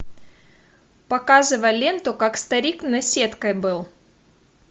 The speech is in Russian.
показывай ленту как старик наседкой был